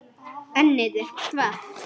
Ennið er þvalt.